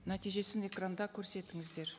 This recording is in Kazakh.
нәтижесін экранда көрсетіңіздер